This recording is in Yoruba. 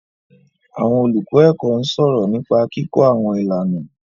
Àwọn olùkọ́ ẹ̀kọ́ ń sọ̀rọ̀ nípa kíkọ́ àwọn ìlànà.